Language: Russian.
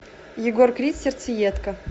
егор крид сердцеедка